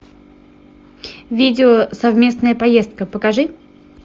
видео совместная поездка покажи